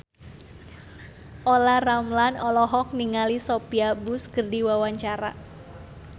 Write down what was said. Olla Ramlan olohok ningali Sophia Bush keur diwawancara